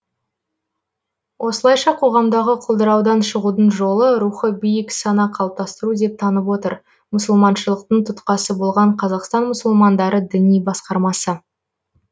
осылайша қоғамдағы құлдыраудан шығудың жолы рухы биік сана қалыптастыру деп танып отыр мұсылманшылықтың тұтқасы болған қазақстан мұсылмандары діни басқармасы